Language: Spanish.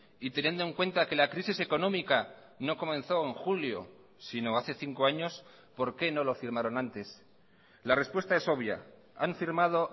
y teniendo en cuenta que la crisis económica no comenzó en julio sino hace cinco años por qué no lo firmaron antes la respuesta es obvia han firmado